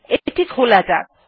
এটি খোলা যাক